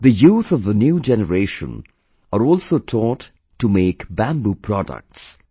The youth of the new generation are also taught to make bamboo products